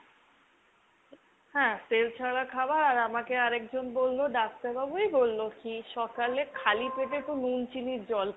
হ্যাঁ তেল ছাড়া খাবার আর আমাকে আরেকজন বললো ডাক্তারবাবুই বললো কি সকালে খালি পেটে একটু নুন চিনির জল খাও।